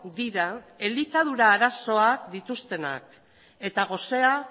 dira elikadura arazoak dituztenak eta gosea